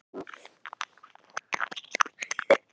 Lóa: Þá bara þannig að það verði grasblettur hér uppúr öskunni, eða?